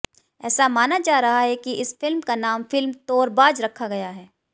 ऐसा माना जा रहा है कि इस फिल्म का नाम फिल्म तोरबाज रखा गया है